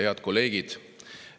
Head kolleegid!